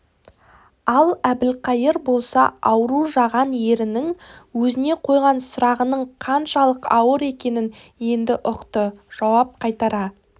ал әбілқайыр болса ауру жаған ерінің өзіне қойған сұрағының қаншалық ауыр екенін енді ұқты жауап қайтара